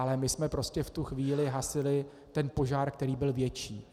Ale my jsme prostě v tu chvíli hasili ten požár, který byl větší.